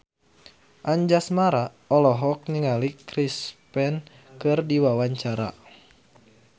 Anjasmara olohok ningali Chris Pane keur diwawancara